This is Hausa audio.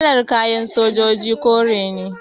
Kalar kayan sojoji kore ne